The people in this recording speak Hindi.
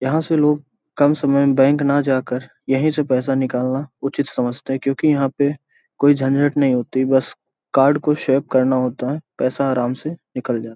यहाँ से लोग कम समय बैंक ना जाकर यहीं से पैसा निकालना उचित समझते हैं क्यूंकि यहाँ पे कोई झंझट नहीं होती बस कार्ड को स्वाइप करना होता हैं पैसा आराम से निकल जा --